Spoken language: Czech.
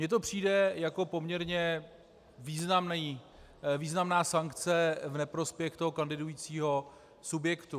Mně to přijde jako poměrně významná sankce v neprospěch toho kandidujícího subjektu.